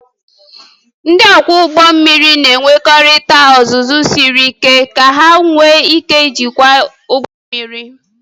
Ndị ọkwọ ụgbọ mmiri na-enwetakarị ọzụzụ siri ike ka ha nwee ike ijikwa ụgbọ mmiri